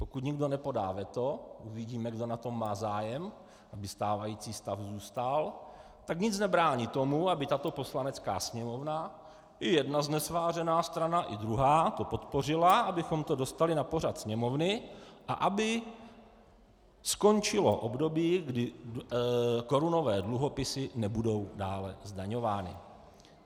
Pokud nikdo nepodá veto - uvidíme, kdo na tom má zájem, aby stávající stav zůstal -, tak nic nebrání tomu, aby tato Poslanecká sněmovna i jedna znesvářená strana i druhá to podpořila, abychom to dostali na pořad Sněmovny a aby skončilo období, kdy korunové dluhopisy nebudou dále zdaňovány.